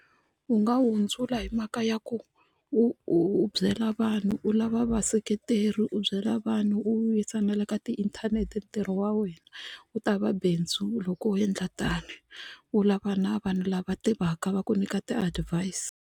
U nga hundzula hi mhaka ya ku u u byela vanhu u lava vaseketeri u byela vanhu u yisa na le ka tiinthanete ntirho wa wena wu ta va bindzu loko u endla tani u lava na vanhu lava tivaka va ku nyika ti-advise.